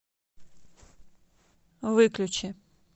выключи